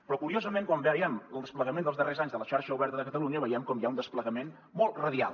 però curiosament quan veiem el desplegament dels darrers anys de la xarxa oberta de catalunya veiem com hi ha un desplegament molt radial